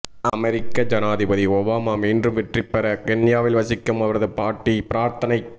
அமெரிக்க ஜனாதிபதி ஒபாமா மீண்டும் வெற்றி பெற கென்யாவில் வசிக்கும் அவரது பாட்டி பிரார்த்தனை